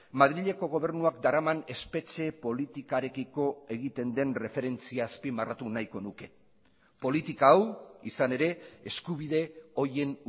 madrileko gobernuak daraman espetxe politikarekiko egiten den erreferentzia azpimarratu nahiko nuke politika hau izan ere eskubide horien